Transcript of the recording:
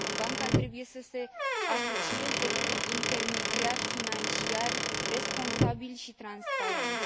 Banca trebuie să se asocieze cu intermediari financiari responsabili și transparenți.